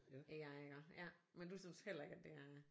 AI og ja men du synes heller ikke at det er